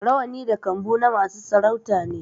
Rawani da kambu na masu sarauta ne